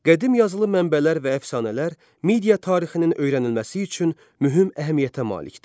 Qədim yazılı mənbələr və əfsanələr media tarixinin öyrənilməsi üçün mühüm əhəmiyyətə malikdir.